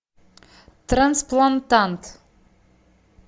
трансплантант